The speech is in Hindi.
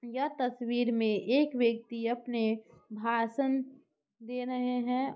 यह तस्वीर में एक व्यक्ति अपने भासन दे रहे हैं।